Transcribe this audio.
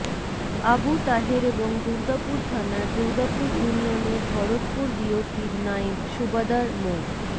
আবু তাহের এবং দুর্গাপুর থানার দুর্গাপুর ইউনিয়নের ভরতপুর বিওপির নায়েব সুবেদার মো